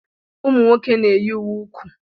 Ụmụ nwoke na-eyi uwe úkwú.